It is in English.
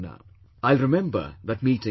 I will remember that meeting forever